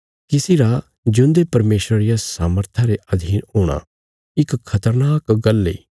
किसी रा जिऊंदे परमेशरा रिया सामर्था रे अधीन हूणा इक खतरनाक गल्ल इ